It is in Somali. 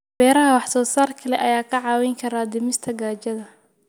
Beeraha wax soo saarka leh ayaa kaa caawin kara dhimista gaajada.